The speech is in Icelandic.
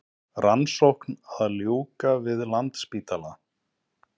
Rannsókn að ljúka við Landspítala